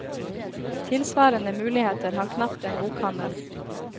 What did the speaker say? Tilsvarende muligheter har knapt en bokhandel.